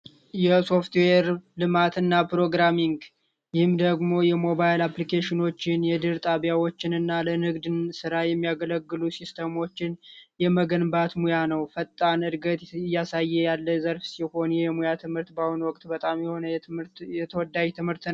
የሶፍትዌር ልማትና ፕሮግራሚንግ ይህም ደግሞ የሞባይል አፕልኬሽኖችንና የድህረ ገጽ ጣቢያዎችና ለንግድ ስራ የሚያገለግሉ ሲስተሞችን የመገንባት ስራ ነው። ፈጣን እድገት እያሳየ ያለ ዘርፍ ሲሆን ትምህርቱ በአሁኑ ወቅት በጣም ተወዳጅ የሆነ የሙያ ትምህርት ነው።